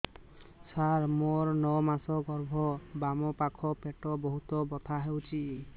ସାର ମୋର ନଅ ମାସ ଗର୍ଭ ବାମପାଖ ପେଟ ବହୁତ ବଥା ହଉଚି